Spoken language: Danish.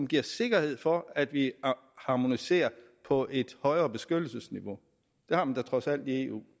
giver sikkerhed for at vi harmoniserer på et højere beskyttelsesniveau det har man da trods alt i eu